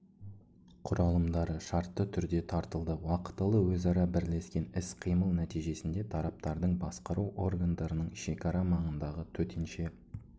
құралымдары шартты түрде тартылды уақытылы өзара бірлескен іс-қимыл нәтижесінде тараптардың басқару органдарының шекара маңындағы төтенше